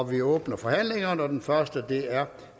vi åbner forhandlingerne og den første er